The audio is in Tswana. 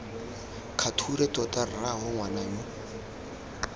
kgature tota rraagwe ngwana yo